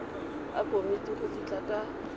a komiti go fitlha ka